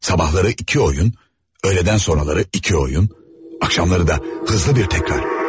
Sabahları iki oyun, öylədən sonraları iki oyun, axşamları da hızlı bir təkrar.